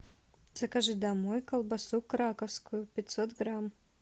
закажи домой колбасу краковскую пятьсот грамм